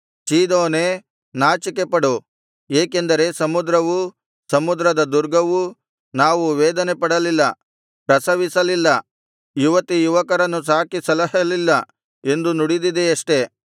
ಚೀದೋನೇ ನಾಚಿಕೆಪಡು ಏಕೆಂದರೆ ಸಮುದ್ರವೂ ಸಮುದ್ರದ ದುರ್ಗವೂ ನಾವು ವೇದನೆ ಪಡಲಿಲ್ಲ ಪ್ರಸವಿಸಲಿಲ್ಲ ಯುವತಿ ಯುವಕರನ್ನು ಸಾಕಿ ಸಲಹಲಿಲ್ಲ ಎಂದು ನುಡಿದಿದೆಯಷ್ಟೆ